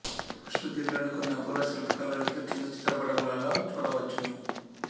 పుష్పగిరిలోని కొన్ని అపూర్వ శిల్పకళా రీతులు క్రింది చిత్రపటములలో చూడవచ్చును